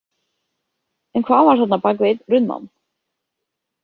En hvað var þarna bak við einn runnann?